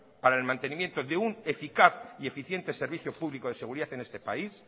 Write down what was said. para el mantenimiento de un eficaz y eficiente servicio público de seguridad en este país